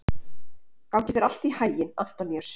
Gangi þér allt í haginn, Antoníus.